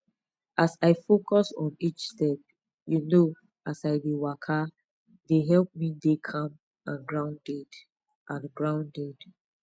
as i focus on each step you know as i dey waka dey help me dey calm and grounded and grounded